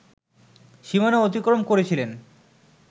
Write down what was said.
সীমানা অতিক্রম করেছিলেন